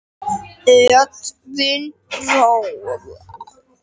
Mynd: Edwin Roald.